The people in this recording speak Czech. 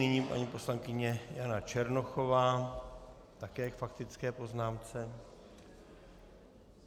Nyní paní poslankyně Jana Černochová také k faktické poznámce.